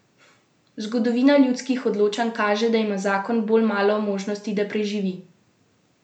Zgodovina ljudskih odločanj kaže, da ima zakon bolj malo možnosti, da preživi.